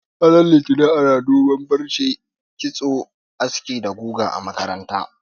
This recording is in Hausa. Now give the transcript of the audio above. Ranar Litinin ana duban farce, aski, kitso da guga a makarantu